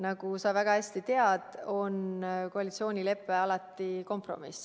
Nagu sa väga hästi tead, koalitsioonilepe on alati kompromiss.